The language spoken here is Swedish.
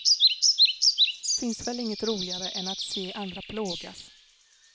Finns väl inget roligare än att se andra plågas.